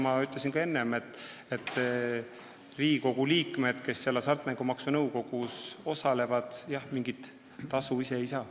Ma ütlesin ka enne, et Riigikogu liikmed, kes Hasartmängumaksu Nõukogus osalevad, mingit tasu ise ei saa.